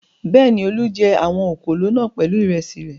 Bẹ́ẹ̀ni, Olú jẹ àwọn òkòló náà pẹ̀lú ìrẹsì rẹ̀.